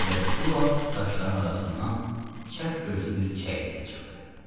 Elə bu vaxt daşların arasından çəp gözlü bir çəyirtkə çıxdı.